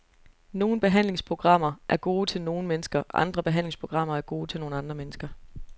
Nogle behandlingsprogrammer er gode til nogle mennesker, andre behandlingsprogrammer er gode til nogle andre mennesker.